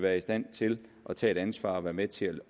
er i stand til at tage et ansvar og være med til